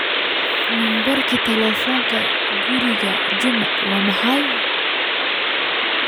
nambarka telefonka guriga juma wa maxey